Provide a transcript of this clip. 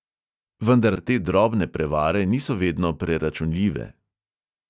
Vendar te drobne prevare niso vedno preračunljive.